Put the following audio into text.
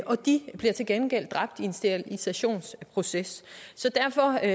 de bliver til gengæld dræbt i en sterilisationsproces derfor er